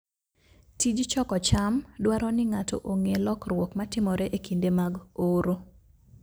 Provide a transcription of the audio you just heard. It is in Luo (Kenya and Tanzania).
Tij choko cham dwaro ni ng'ato ong'e lokruok matimore e kinde mag oro.